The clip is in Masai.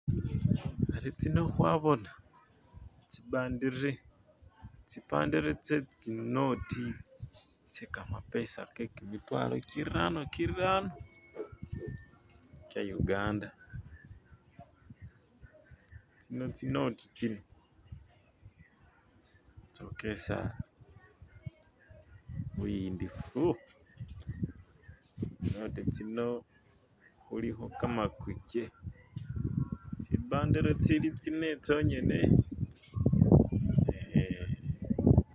ari tsino hwabona tsibandere tsetsinoti tsekamapesa kekimitwalo kirano-kirano kyayuganda tsino tsinoti tsino tsokesa buyindifu tsinoti tsino huliho kamakuche tsibandere tsili tsine tsonyene